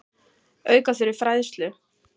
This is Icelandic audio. Auka þurfi fræðslu.